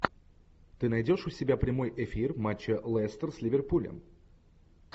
ты найдешь у себя прямой эфир матча лестер с ливерпулем